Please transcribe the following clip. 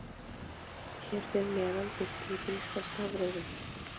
Hér fyrir neðan birtum við gríska stafrófið.